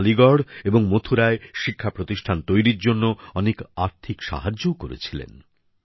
তিনি আলীগড় এবং মথুরায় শিক্ষা প্রতিষ্ঠান তৈরীর জন্য অনেক আর্থিক সাহায্যও করেছিলেন